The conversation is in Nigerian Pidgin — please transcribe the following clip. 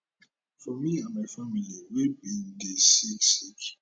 for me and my family we bin dey sick sick